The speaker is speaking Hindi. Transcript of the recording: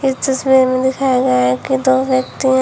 पिक्चर्स में दिखाया गया है कि दो व्यक्ति हैं।